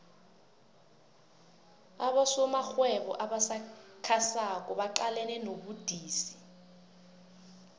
abosomarhwebo abasakhasako baqalene nobudisi